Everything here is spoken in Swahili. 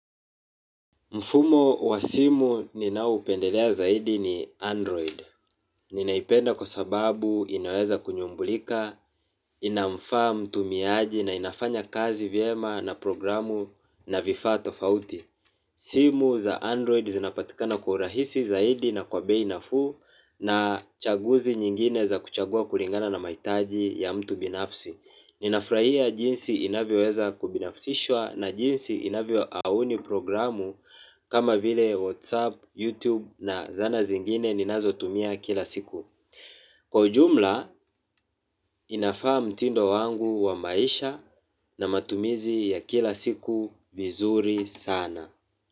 Mfumo wa simu ninaupendelea zaidi ni Android. Ninaipenda kwa sababu inaweza kunyumbulika, inamfaa mtumiaji na inafanya kazi vyema na programu na vifaa tofauti. Simu za Android zinapatikana kwa urahisi zaidi na kwa bei nafuu na chaguzi nyingine za kuchagua kulingana na maitaji ya mtu binafsi. Ninafurahia jinsi inavyoweza kubinafisishwa na jinsi inavyo auni programu kama vile Whatsapp, Youtube na zana zingine ninazo tumia kila siku. Kwa ujumla inafaa mtindo wangu wa maisha na matumizi ya kila siku vizuri sana.